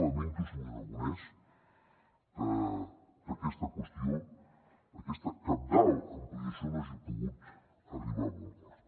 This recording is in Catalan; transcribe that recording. lamento senyor aragonès que aquesta qüestió aquesta cabdal ampliació no hagi pogut arribar a bon port